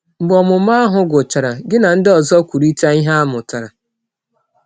Mgbe ọmụmụ ahụ gwụchara, gị na ndị ọzọ kwurịta ihe a mụtara.